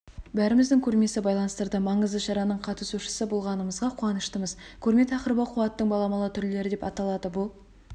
бәрімізді көрмесі байланыстырды маңызды шараның қатысушысы болғанымызға қуаныштымыз көрме тақырыбы қуаттың баламалы түрлері деп аталады бұл